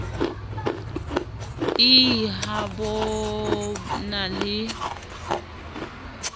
ii ha bo na le